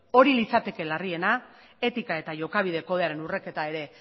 hori litzateke larriena etika eta jokabide kodearen urraketa ere